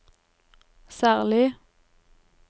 særlig